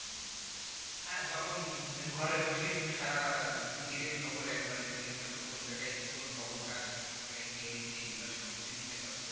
হ্যাঁ তখন ঘরে বসে সারা পৃথিবীর খবর একবারে নিতে পারতো কোন জায়গায় কোন খবরটা আসছে কোন জায়গায় কী হয়েছে এগুলো সব কিছু নিতে পারতো।